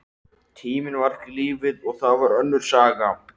Tíminn var ekki lífið, og það var önnur saga.